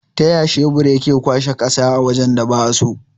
Taya shebur yake kwashe ƙasa a wajan da ba'a so?